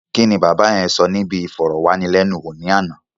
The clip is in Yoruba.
Kíni bàbá yẹn sọ níbi ìfọ̀rọ̀wánilénuwò ní àná?